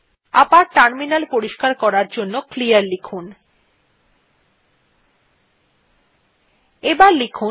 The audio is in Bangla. আবার টার্মিনাল পরিষ্কার করার জন্য ক্লিয়ার লিখুন